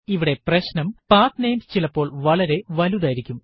ഇവിടെ പ്രശ്നം പത്നമേസ് ചിലപ്പോൾ വളരെ വലുതായിരിക്കും